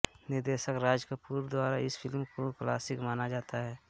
निर्देशक राज कपूर द्वारा इस फिल्म को क्लासिक माना जाता है